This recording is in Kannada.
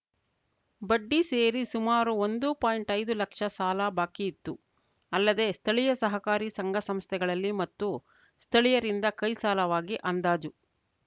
ಬಡ್ಡಿ ಸೇರಿ ಸುಮಾರು ಒಂದು ಪಾಯಿಂಟ್ಐದು ಲಕ್ಷ ಸಾಲ ಬಾಕಿಯಿತ್ತು ಅಲ್ಲದೇ ಸ್ಥಳೀಯ ಸಹಕಾರಿ ಸಂಘ ಸಂಸ್ಥೆಗಳಲ್ಲಿ ಮತ್ತು ಸ್ಥಳೀಯರಿಂದ ಕೈ ಸಾಲವಾಗಿ ಅಂದಾಜು